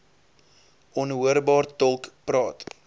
onhoorbaar tolk praat